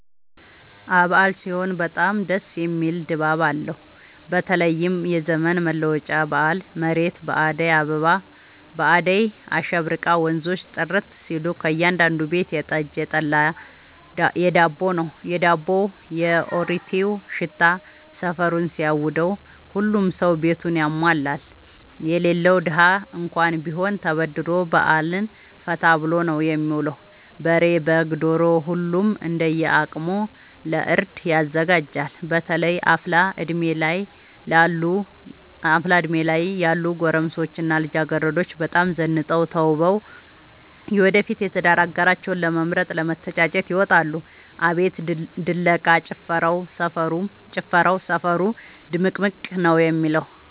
አበዓል ሲሆን በጣም ደስ የሚል ድባብ አለው በተለይም የዘመን መለወጫ በአል መሬት በአዳይ አሸብርቃ ወንዞቹ ጥርት ሲሉ ከእያዳዱ ቤት የጠጅ፣ የጠላ የዳቦው።፣ የአሪቲው ሽታ ሰፈሩን ሲያውደው። ሁሉም ሰው ቤቱን ያሟላል የሌለው ደሀ እንኳን ቢሆን ተበድሮ በአልን ፈታ ብሎ ነው የሚውለው። በሬ፣ በግ፣ ዶሮ ሁሉም እንደየ አቅሙ ለእርድ ያዘጋጃል። በተለይ አፍላ እድሜ ላይ ያሉ ጎረምሶች እና ልጃገረዶች በጣም ዘንጠው ተውበው የወደፊት የትዳር አጋራቸውን ለመምረጥ ለመተጫጨት ይወጣሉ። አቤት ድለቃ፣ ጭፈራው ሰፈሩ ድምቅምቅ ነው የሚለው።